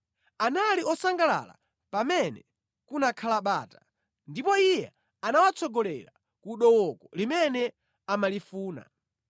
Anali osangalala pamene kunakhala bata, ndipo Iye anawatsogolera ku dooko limene amalifuna.